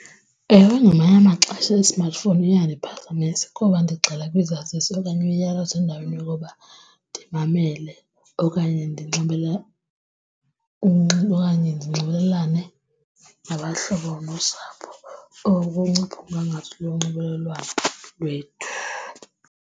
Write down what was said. Ewe, ngamanye amaxesha i-smartphone iyasiphazamisa koba ndigxila kwisaziso okanye umyalezo endaweni yokuba ndimamele okanye okanye ndinxibelelane nabahlobo nosapho or kunciphe umgangatho lonxibelelwano lwethu.